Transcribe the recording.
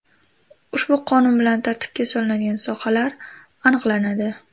Ushbu qonun bilan tartibga solinadigan sohalar aniqlanadi.